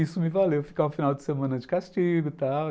Isso me valeu ficar um final de semana de castigo e tal.